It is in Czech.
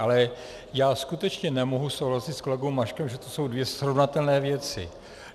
Ale já skutečně nemohu souhlasit s kolegou Maškem, že jsou to dvě srovnatelné věci.